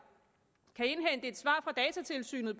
kan indhente et svar fra datatilsynet